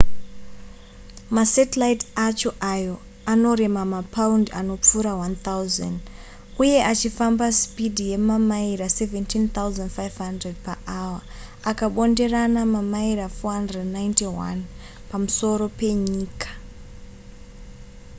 masatellite acho ayo anorema mapaundi anopfuura 1,000 uye achifamba sipidhi yemamaira 17,500 paawa akabonderana mamaira 491 pamusoro penyika